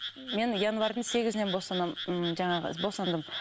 мен январьдың сегізінен босанамын м жаңағы босандым